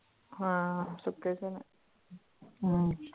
ਹਾਂ ਸੁੱਖੇ ਚਨੇ ਅਮ